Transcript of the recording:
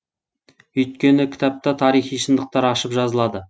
өйткені кітапта тарихи шындықтар ашып жазылады